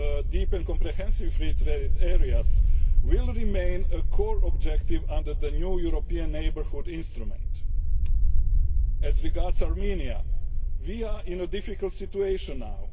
of Deep and Comprehensive Free Trade Areas will remain a core objective under the new European Neighbourhood Instrument. As regards Armenia, we are in a difficult situation now.